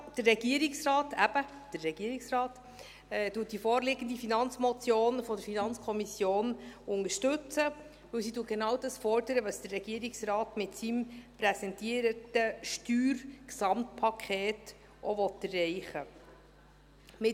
Der Regierungsrat – eben der Regierungsrat – unterstützt die vorliegende Finanzmotion der FiKo, weil sie genau das fordert, was der Regierungsrat mit seinem Steuergesamtpaket auch erreichen will.